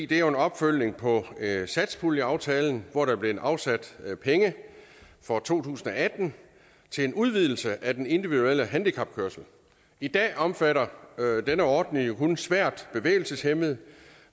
det er jo en opfølgning på satspuljeaftalen hvor der er blevet afsat penge for to tusind og atten til en udvidelse af den individuelle handicapkørsel i dag omfatter denne ordning jo kun svært bevægelseshæmmede